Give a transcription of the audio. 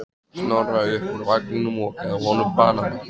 Snorra upp úr vagninum og gaf honum banana.